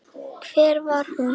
Hver var hún?